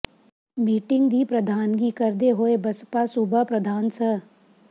meeting ਦੀ ਪ੍ਰਧਾਨਗੀ ਕਰਦੇ ਹੋਏ ਬਸਪਾ ਸੂਬਾ ਪ੍ਰਧਾਨ ਸ